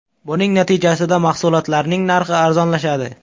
Buning natijasida mahsulotlarning narxi arzonlashadi.